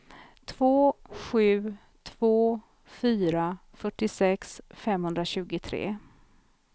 två sju två fyra fyrtiosex femhundratjugotre